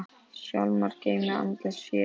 Hjálmar geymir andlegt fé.